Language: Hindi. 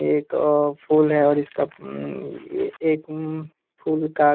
एक अ फूल है और इसका अं ये एक ऊं फूल का--